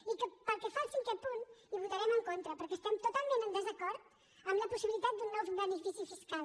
i pel que fa al cinquè punt hi votarem en contra perquè estem totalment en desacord amb la possibilitat d’un nou benefici fiscal